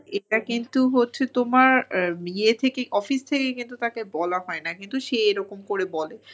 এটা কিন্তু হচ্ছে তোমার ইয়ে থেকে office থেকে কিন্তু তাকে বলা হয় না কিন্তু সে এরকম করে বলে।